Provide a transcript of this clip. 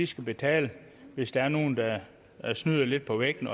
skal betale hvis der er nogle der snyder lidt på vægten